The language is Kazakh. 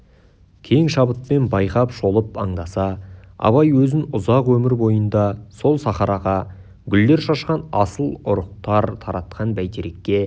кең шабытпен байқап шолып аңдаса абай өзін ұзақ өмір бойында сол сахараға гүлдер шашқан асыл ұрықтар таратқан бәйтерекке